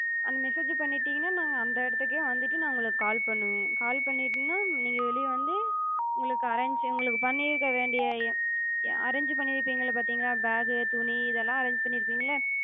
அந்த message அஹ் பண்ணிடிங்கனா நாங்க அந்த இடத்துக்கே வந்துட்டு நா உங்கள call பண்ணுவே. call பண்ணிடேனா நீங்க வெளிய வந்து உங்களுக்கு arrange உங்களுக்குப் பண்ணிருக்க வேண்டிய arrange பண்ணிருப்பிங்க பாத்திங்கலா, bag துணி இதெல்ல arrange பண்ணிருப்பிங்கள்ல,